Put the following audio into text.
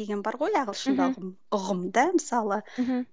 деген бар ғой ағылшында ұғымда мысалы мхм